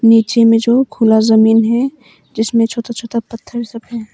नीचे में जो खुला जमीन है जिसमें छोटा छोटा पत्थर सब है।